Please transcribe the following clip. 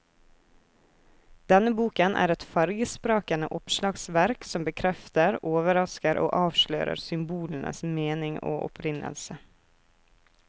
Denne boken er et fargesprakende oppslagsverk som bekrefter, overrasker og avslører symbolenes mening og opprinnelse.